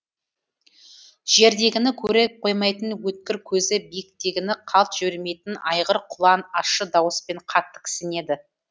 жердегіні көре қоймайтын өткір көзі биіктегіні қалт жібермейтін айғыр құлан ащы дауыспен қатты кісінеді